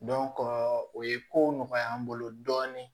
o ye kow nɔgɔya an bolo dɔɔnin